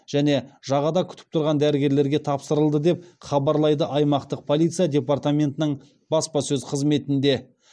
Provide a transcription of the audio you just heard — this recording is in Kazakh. және жағада күтіп тұрған дәрігерлерге тапсырылды деп хабарлады аймақтық полиция департаментінің баспасөз қызметінде